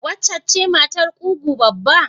Waccen ce matar mai ƙugu babba?